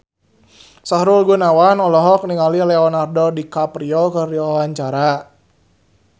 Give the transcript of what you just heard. Sahrul Gunawan olohok ningali Leonardo DiCaprio keur diwawancara